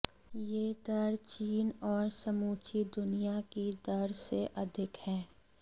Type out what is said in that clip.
यह दर चीन और समूची दुनिया की दर से अधिक है